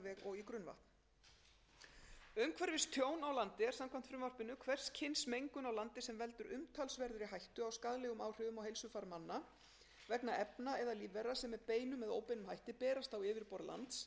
og í grunnvatn umhverfistjón á landi er samkvæmt frumvarpinu hvers kyns mengun á landi sem veldur umtalsverðri hættu á skaðlegum áhrifum á heilsufar manna vegna efna eða lífvera sem með beinum eða óbeinum hætti berast á yfirborð lands eða í jarðveg eða